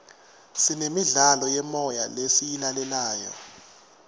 sinemidlalo yemoya lesiyilalelayo